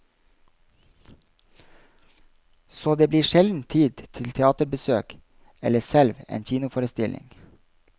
Så det blir sjelden tid til teaterbesøk eller selv en kinoforestilling.